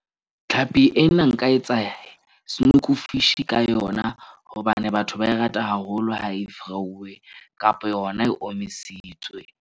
Tlhapi ena nka etsa snoek-u fishi-i ka yona. Hobane batho ba e rata haholo ha e fry-uwe kapa yona e omisitswe.